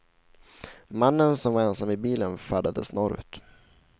Mannen, som var ensam i bilen, färdades norrut.